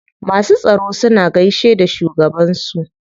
Masu tsaro suna gaishe da shugaban su.